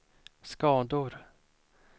skador